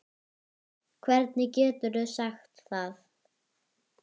Hvernig geturðu sagt það?